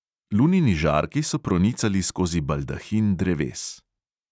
Lunini žarki so pronicali skozi baldahin dreves.